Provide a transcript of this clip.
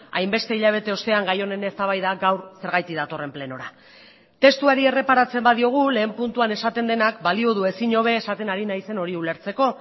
hainbeste hilabete ostean gai honen eztabaida gaur zergatik datorren plenora testuari erreparatzen badiogu lehen puntuan esaten denak balio du ezin hobe esaten ari naizen hori ulertzeko